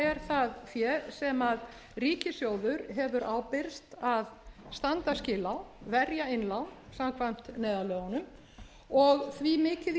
það fé sem ríkissjóður hefur ábyrgst að standa skil á verja innlán samkvæmt neyðarlögunum og því mikið í